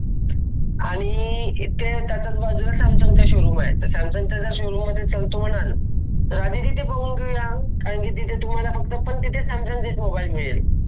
आणि येथे च आहे सॅमसंग शोरूम आहे ते सॅमसंग च आधी तिथे बघून घेऊया कारण तिथे सॅमसंग मोबाइल मिळेल